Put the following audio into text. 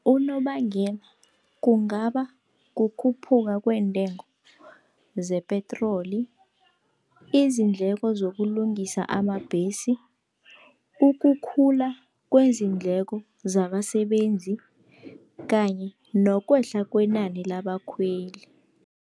Unobangela kungaba kukhuphuka kweentengo zepetroli, izindleko zokulungisa amabhesi, ukukhula kwezindleko zabasebenzi kanye nokwehla kwenani labakhweli.